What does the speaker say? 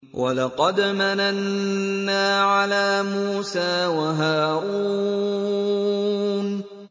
وَلَقَدْ مَنَنَّا عَلَىٰ مُوسَىٰ وَهَارُونَ